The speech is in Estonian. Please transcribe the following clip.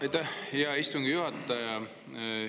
Aitäh, hea istungi juhataja!